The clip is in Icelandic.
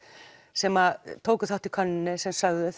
sem tóku þátt í könnuninni sem sögðu